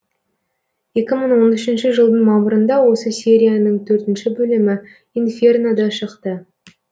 екі мың он үшінші жылдың мамырында осы серияның төртінші бөлімі инферно да шықты